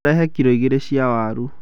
ũrehe kilo igĩrĩ cia waru